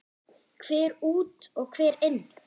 Hver út og hver inn?